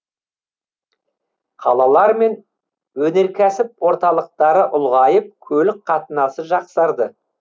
қалалар мен өнеркәсіп орталықтары ұлғайып көлік қатынасы жақсарды